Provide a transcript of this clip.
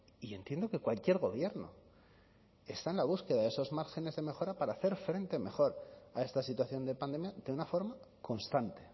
y entiendo que cualquier gobierno está en la búsqueda de esos márgenes de mejora para hacer frente mejor a esta situación de pandemia de una forma constante